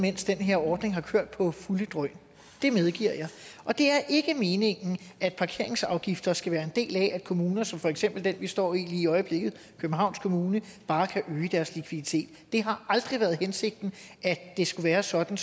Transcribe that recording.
mens den her ordning har kørt for fulde drøn det medgiver jeg og det er ikke meningen at parkeringsafgifter skal være en del af at kommuner som for eksempel den vi står i lige i øjeblikket københavns kommune bare kan øge deres likviditet det har aldrig været hensigten at det skulle være sådan